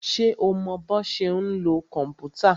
Ṣé o mọ bọ́ ṣe ń lo kòmpútà?